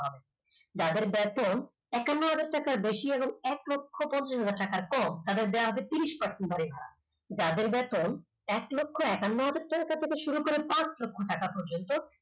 যাদের বেতন পঞ্ছান্ন হাজার টাকার বেশি এক লক্ষ পঞ্চাশ হাজার টাকার কম তাদের দেওয়া হবে ত্রিশ percent হারে ছাড় যাদের বেতন এক লক্ষ একান্ন হাজার থেকে শুরু করে পাচ লক্ষ টাকা পর্যন্ত